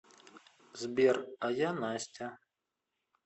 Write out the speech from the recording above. сбер а я настя